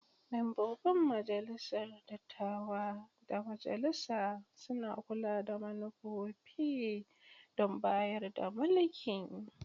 Membobin Majalisar Dattawa da Majalisa suna kula da manufofi da bayar da mulki.